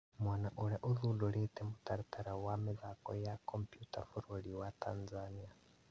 Mwana ũrĩa ũthundĩrĩte mũtaratara wa mĩthako ya kompyuta bũrũri wa Tanzania